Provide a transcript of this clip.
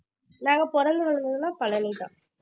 நாங்க பிறந்து வளர்ந்தது எல்லாம் பழனிதான்